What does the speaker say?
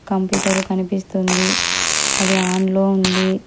Computer కనిపిస్తుంది అది on లో ఉంది.